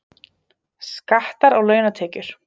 Skattar á launatekjur